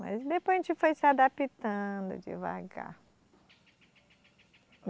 Mas depois a gente foi se adaptando devagar.